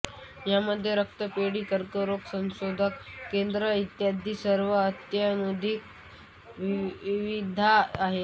यामध्ये रक्तपेढी कर्करोग संशोधन केंद्र इत्यादी सर्व अत्याधुनिक सुविधा आहेत